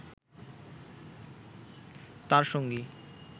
তার সঙ্গী